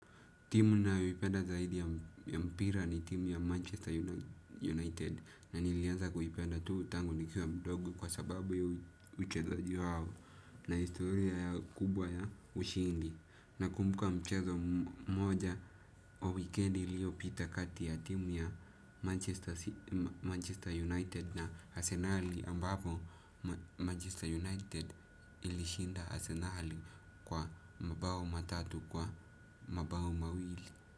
Timu ninayoipenda zaidi ya mpira ni timu ya Manchester United na nilianza kuipenda tu tangu nikiwa mdogo kwa sababu ya uchezaji wao na historia yao kubwa ya ushindi. Nakumbuka mchezo mmoja kwa wikendi iliyopita kati ya timu ya Manchester United na arsenali ambapo Manchester United ilishinda arsenali kwa mabao matatu kwa mabao mawili.